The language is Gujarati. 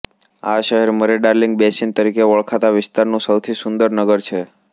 આ શહેર મરેડાર્લિંગ બેસિન તરીકે ઓળખાતા વિસ્તારનું સૌથી સુંદર નગર છે